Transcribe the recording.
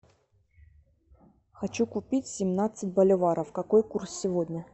хочу купить семнадцать боливаров какой курс сегодня